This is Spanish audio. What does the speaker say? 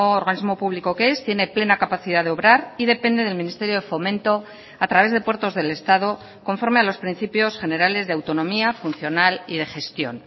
organismo público que es tiene plena capacidad de obrar y depende del ministerio de fomento a través de puertos del estado conforme a los principios generales de autonomía funcional y de gestión